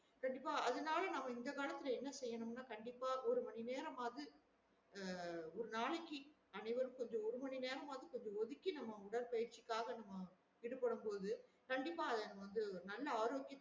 பிரதிப்பா அதுனால நம்ம இந்த காலத்துல நம்ம என்ன செய்யணும் கண்டிப்பா ஒரு மணி நேரமாது ஒரு நாளைக்கு அனைவரும் ஒருகொஞ்சம் ஒரு மணி நேரம்வாது கொஞ்சம் ஒதிக்கி உடற்பயிற்சிக்காக நம்ம ஈடு பட போது கண்டிப்பா அதுல நம்ம வந்து நல்ல ஆரோக்கிய